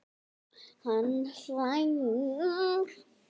Hann hlær.